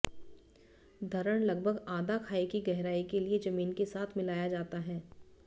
धरण लगभग आधा खाई की गहराई के लिए जमीन के साथ मिलाया जाता है